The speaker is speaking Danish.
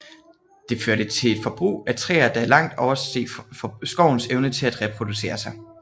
Det førte til et forbrug af træer der langt oversteg skovens evne til at reproducere sig